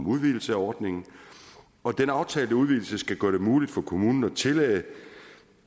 udvidelse af ordningen og den aftalte udvidelse skal gøre det muligt for kommunen at tillade